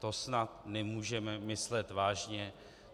To snad nemůžeme myslet vážně.